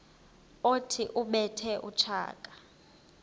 othi ubethe utshaka